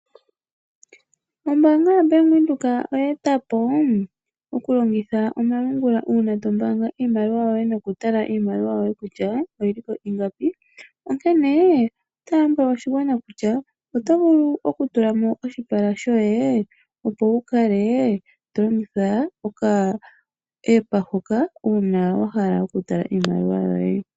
Ombaanga ya Bank Windhoek oya eta po okulongitha omalungula uuna to mbaanga iimaliwa yoye nokutala iimaliwa yoye oyili ko ingapi. Onkene ota lombwele oshigwana kutya oto vulu okutula mo oshipala shoye opo wu kale to longitha oka app hoka uuna wa hala okuutala iimaliwa yoye.